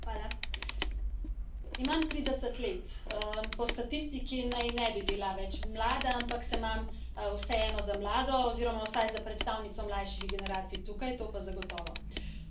Gospa predsednica! Imam trideset let. Po statistiki naj ne bi bila več mlada, ampak se imam vseeno za mlado oziroma vsaj za predstavnico mlajših generacij tukaj, to pa zagotovo.